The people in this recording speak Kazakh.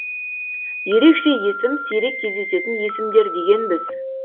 ерекше есім сирек кездесетін есімдер дегенбіз